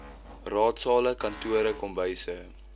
raadsale kantore kombuise